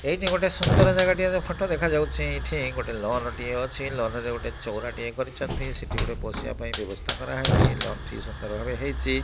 ଏଇଠି ଗୋଟେ ସୁନ୍ଦର ଜାଗାଟିଏ ର ଫଟୋ ଦେଖାଯାଉଛି। ଏଠି ଗୋଟେ ଲନ୍ ଟିଏ ଅଛି। ଲନ୍ ରେ ଗୋଟେ ଚଉରା ଟିଏ କରିଛନ୍ତି। ସେଠି ଗୋଟେ ବସିବା ପାଇଁ ବ୍ୟବସ୍ଥା କରହେଇଛି। ଲନ୍ ଟି ସୁନ୍ଦର ଭାବେ ହେଇଛି।